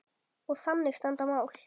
Og þannig standa mál.